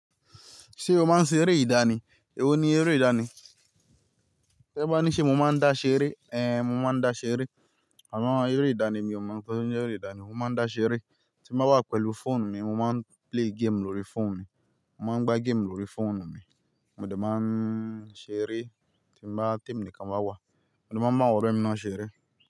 Ṣé o máa ń ṣe eré ìdánì? Èwo ni eré ìdánì? Ṣé bá ní ṣé mo máa ń dá ṣeré? Èé, mo máa ń dá ṣeré. Àwọn eré ìdánì mi ò mọ̀ nítorí pé eré ìdánì mo máa ń dá ṣeré. Tí mo bá wà pẹ̀lú fóònù mi, mo máa ń play game lórí fóònù mi. Mo máa ń gbá game lórí fóònù mi. Mo dẹ̀ máa ń ṣeré tí mo bá, tí èmi nìkan bá wà. Mo dẹ̀ máa ń mú àwọn ọ̀rẹ́mi ná ṣeré.